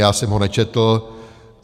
Já jsem ho nečetl.